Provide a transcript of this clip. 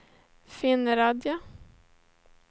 Finnerödja